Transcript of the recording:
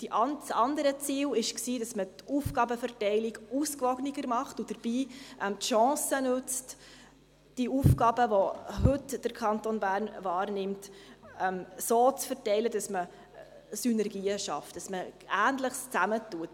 Das andere Ziel war, die Aufgabenverteilung ausgewogener zu machen und dabei die Chance zu nutzen, die Aufgaben, die der Kanton Bern heute wahrnimmt, so zu verteilen, dass man Synergien schafft und Ähnliches zusammennimmt.